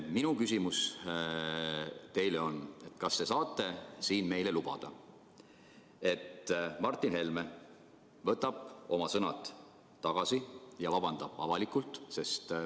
Minu küsimus teile on: kas te saate siin meile lubada, et Martin Helme võtab oma sõnad tagasi ja vabandab avalikult?